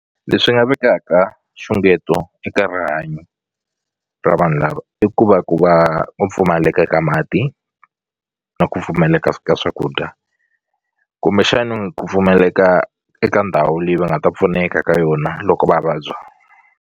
Leswi nga vekaka nxungeto eka rihanyo ra vanhu lava i ku va ku va ku pfumaleka ka mati na ku pfumaleka ka swakudya kumbexani ku pfumaleka eka ndhawu leyi va nga ta pfuneka ka yona loko va vabya.